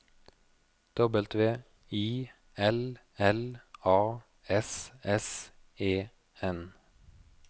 W I L L A S S E N